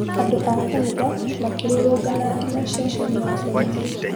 andũ a kanitha makĩrũrũngana nginya ceceni ya borithi